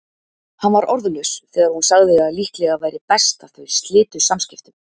Hann var orðlaus þegar hún sagði að líklega væri best að þau slitu samvistum.